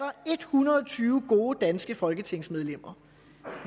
hundrede og tyve gode danske folketingsmedlemmer